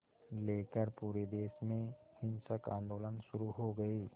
लेकर पूरे देश में हिंसक आंदोलन शुरू हो गए